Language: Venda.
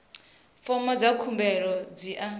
fomo dza khumbelo dzi a